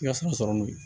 I ka sɔrɔ n'o ye